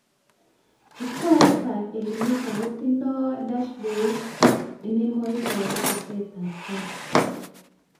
Chukwaitab Elimika kotindoi dashbodit emaiboru tesetab tai